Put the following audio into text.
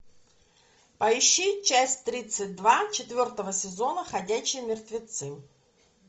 поищи часть тридцать два четвертого сезона ходячие мертвецы